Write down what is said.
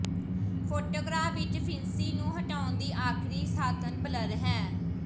photograph ਵਿੱਚ ਫਿਣਸੀ ਨੂੰ ਹਟਾਉਣ ਦੀ ਆਖਰੀ ਸਾਧਨ ਬਲਰ ਹੈ